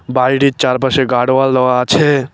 বাইরে চারপাশের গাড়োয়াল দেওয়া আছে।